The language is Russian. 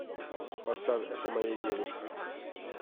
поставь это моя девушка